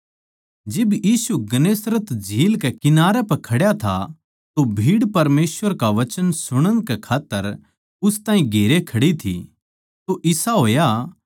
जिब वो गन्नेसरत की झील कै किनारे पै खड्या था तो भीड़ परमेसवर का वचन सुणण कै खात्तर उसनै भीड़ नै वो घेर राख्या था तो इसा होया